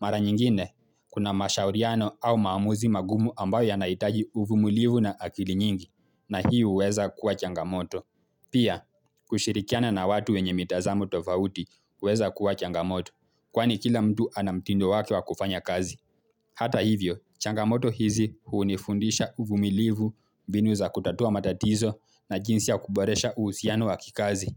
Mara nyingine, kuna mashauriano au maamuzi magumu ambayo yanahitaji uvumilivu na akili nyingi, na hii huweza kuwa changamoto. Pia, kushirikiana na watu wenye mitazamo tofauti huweza kuwa changamoto, kwani kila mtu ana mtindo wake wa kufanya kazi. Hata hivyo, changamoto hizi hunifundisha uvumilivu mbinu za kutatua matatizo na jinsi ya kuboresha uhusiano wa kikazi.